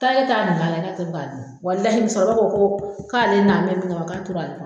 Taa ne ta min'a la tɛ ko ka d'i ma walahi muso kɔrɔba ko ko k'ale nan bɛ min kama k'a tora ale kɔnɔ.